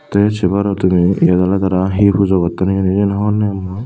te se paror tumi yen awle tara hi pujo gotton hijeni siyen honopem mui.